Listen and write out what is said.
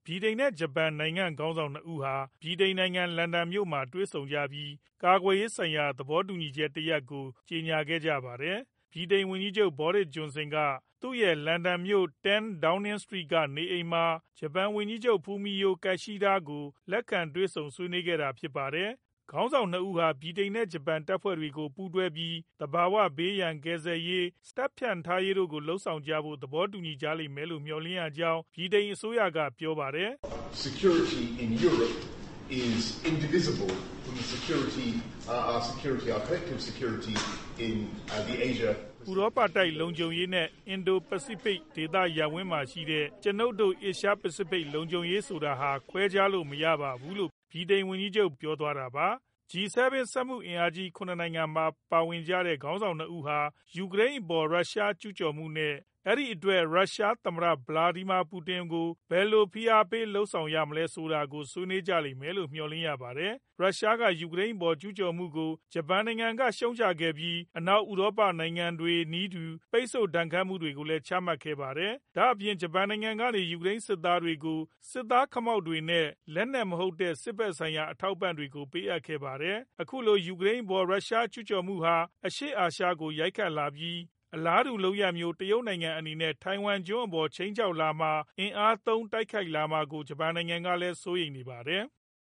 ဗြိတိန်နဲ့ ဂျပန်နိုင်ငံ ခေါင်းဆောင် ၂ ဦးဟာ ဗြိတိန်နိုင်ငံ လန်ဒန်မြို့မှာ တွေ့ဆုံခဲ့ကြပြီး ကာကွယ်ရေးဆိုင်ရာ သဘောတူညီချက်သစ်တရပ်ကို ကြေညာခဲ့ကြပါတယ်။ ဗြိတိန်ဝန်ကြီးချုပ် Boris Johnson က သူရဲ့ လန်ဒန်မြို့ အမှတ် 10 Downing Street က နေအိမ်မှာ ဂျပန်ဝန်ကြီးချုပ် Fumio Kishida ကို လက်ခံတွေဆုံ ဆွေးနွေးကြတာဖြစ်ပါတယ်။ ခေါင်းဆောင် ၂ ဦးဟာ ဗြိတိန်နဲ့ ဂျပန် တပ်ဖွဲ့တွေကို ပူးတွဲပြီး သဘာဝဘေးရန် ကယ်ဆယ်ရေး၊ စစ်လေ့ကျင့်ရေး ၊ တပ်ဖြန့်ထားရေး တို့လုပ်ဆောင်ကြဖို့ကို သဘောတူညီကြလိမ့်မယ်လို့ မျှော်လင့်ရကြောင်း ဗြိတိန်အစိုးရက ပြောပါတယ်။ "ဥရောပတိုက် လုံခြုံရေးနဲ့ Indo-Pacific ဒေသရပ်ဝန်းမှာရှိတဲ့ ကျွနိုပ်တို့ Asia Pacific လုံခြုံရေးဆိုတာဟာ ခွဲခြားလို့မရပါဘူး" လို့ ဗြိတိန်ဝန်ကြီးချုပ် က ပြောသွားတာပါ။ G-7 စက်မှုအင်အားကြီး ၇ နိုင်ငံထဲမှာပါဝင်ကြတဲ့ ခေါင်းဆောင် ၂ ဦးဟာ ယူကရိန်းအပေါ် ရုရှားကျူးကျော်မှု နဲ့ အဲဒီအတွက်ရုရှား သမ္မတ ဗလာဒီမာ ပူတင် အပေါ် ဘယ်လို ဖိအားပေးမှုတွေ လုပ်ဆောင်ရမယ်ဆိုတာကို ဆွေးနွေးကြလိမ့်မယ့် မျှော်လင့်ရပါတယ်။ ရုရှားက ယူကရိန်းအပေါ် ကျူးကျော်မှုကို ဂျပန်နိုင်ငံက ရှုတ်ချခဲ့ပြီး အနောက်ဥရောပနိုင်ငံတွေနည်းတူ ပိတ်ဆို့ဒဏ်ခတ်မှုတွေကိုလည်း ချမှတ်ခဲ့ပါတယ်။ ဒါ့အပြင် ဂျပန်နိုင်ငံကနေ ယူကရိန်းနိုင်ငံကို စစ်သားခမောက်တွေ နဲ့ လက်နက်မဟုတ်တဲ့ စစ်ဖက်ဆိုင်ရာ အထောက်အပံ့တွေကို ပေးအပ်ခဲ့ပါတယ်။ အခုလို ယူကရိန်အပေါ် ရုရှားကျူးကျော်မှုဟာ အရှေ့အာရှကိုလည်း ရိုက်ခတ်လာပြီး အလားတူလုပ်ရပ်မျိုး တရုတ်နိုင်ငံအနေနဲ့ ထိုင်ဝမ်ကျွန်းအပေါ် ခြိမ်းခြောက်လာမှာ ၊ အင်အားသုံး တိုက်ခိုက်လာမှာကို ဂျပန်နိုင်ငံက စိုးရိမ်နေပါတယ်။